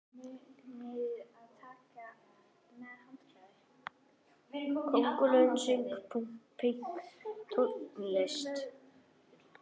Köngulóin söng pönktónlist!